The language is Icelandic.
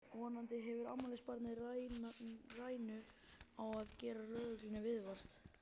Vonandi hefur afmælisbarnið rænu á að gera lögreglunni viðvart!